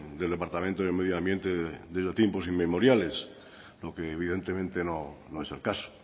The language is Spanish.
del departamento de medio ambiente desde tiempos inmemoriales lo que evidentemente no es el caso